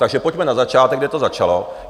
Takže pojďme na začátek, kde to začalo.